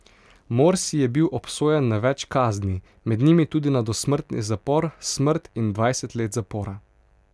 Morsi je bil obsojen na več kazni, med njimi tudi na dosmrtni zapor, smrt in dvajset let zapora.